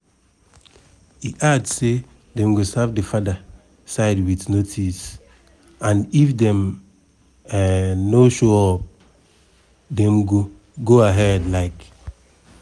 e add say dem go serve di father side wit notice and if dem um no show up dem go go ahead. um